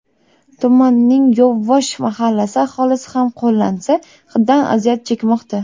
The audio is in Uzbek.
Tumanning Yovvosh mahallasi aholisi ham qo‘lansa hiddan aziyat chekmoqda.